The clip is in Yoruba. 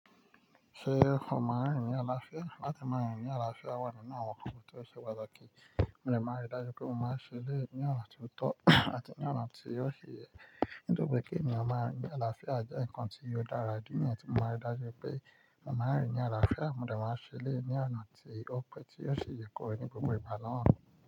Ṣé o máa rìn ní àlàáfíà? Láti máa rìn ní àlàáfíà, wà nínú àwọn nnkan ti o ṣe pataki. Mo lè máa rí dájú pé mo máa ṣẹlẹ̀ ní ọ̀nà tó tọ́ àti ní ọ̀nà tí yóò ṣe yẹ. Nítorí pé kí ènìyàn máa rìn ní àlàáfíà jẹ́ ǹkan tí yóò dára, idi níyèn tí mo máa rí dájú pé mo máa rìn ní àlàáfíà, mo dè máa ṣẹlẹ̀ ní ọ̀nà tí ó pé tí yóò ṣe yẹ kọ̀ ní gbogbo ìgbà naa.